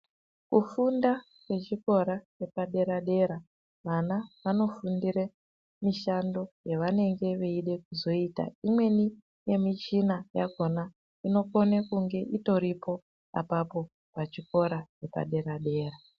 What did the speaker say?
Kufunda kwechikora chepadera dera vana vanofundira mishando yavanenge veida kuzoita imweni yemishina inokona kunge iriko pachikora chepadera dera.